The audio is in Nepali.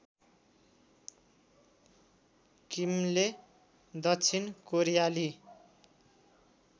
किमले दक्षिण कोरियाली